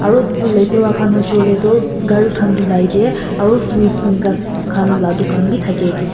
aru latera khan hoishey koilae tu gari khan dhulai tae aro sweets enika khan la dukan bi thakae--